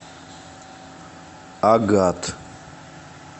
агат